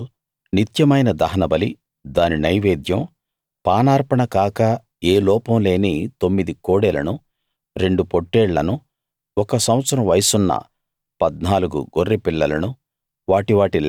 అయిదో రోజు నిత్యమైన దహనబలి దాని నైవేద్యం పానార్పణ కాక ఏ లోపం లేని తొమ్మిది కోడెలను రెండు పొట్టేళ్లను ఒక సంవత్సరం వయసున్న 14 గొర్రెపిల్లలను